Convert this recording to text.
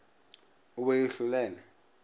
o be o e hlolele